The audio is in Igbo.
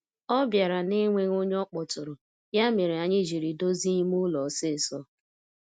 Ọ bịara na'enweghị ọnye ọkpọtụrụ, ya mere anyị jiri dozie ime ụlọ ọsịsọ.